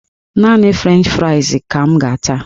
Naanị frenchị frais ka m ga-ata